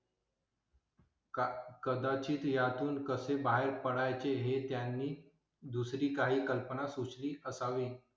का कदाचित यातून कसे बाहेर पडायचे? हे त्यांनी दुसरी काही कल्पना सुचली असावी.